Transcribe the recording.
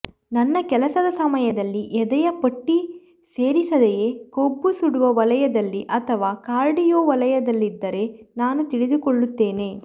ನನ್ನ ಕೆಲಸದ ಸಮಯದಲ್ಲಿ ಎದೆಯ ಪಟ್ಟಿ ಸೇರಿಸದೆಯೇ ಕೊಬ್ಬು ಸುಡುವ ವಲಯದಲ್ಲಿ ಅಥವಾ ಕಾರ್ಡಿಯೋ ವಲಯದಲ್ಲಿದ್ದರೆ ನಾನು ತಿಳಿದುಕೊಳ್ಳುತ್ತೇನೆ